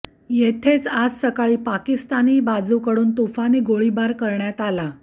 तेथेच आज सकाळी पाकिस्तानी बाजूकडून तुफानी गोळीबार करण्यात आला